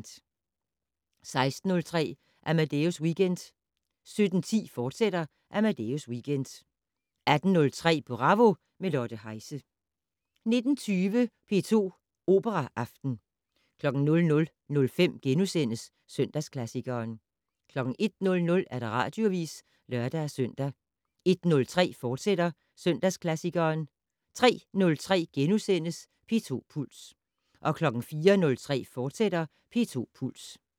16:03: Amadeus Weekend 17:10: Amadeus Weekend, fortsat 18:03: Bravo - med Lotte Heise 19:20: P2 Operaaften 00:05: Søndagsklassikeren * 01:00: Radioavis (lør-søn) 01:03: Søndagsklassikeren, fortsat 03:03: P2 Puls * 04:03: P2 Puls, fortsat